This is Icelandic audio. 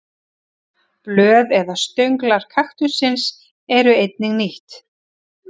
Blöð eða stönglar kaktussins eru einnig nýtt.